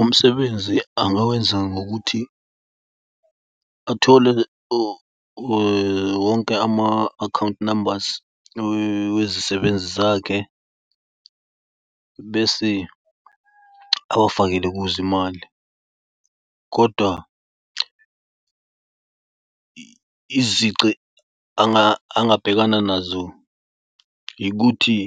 Umsebenzi angawenza ngokuthi athole wonke ama-account numbers wezisebenzi zakhe bese abafakele kuze imali. Kodwa izici angabhekana nazo ikuthi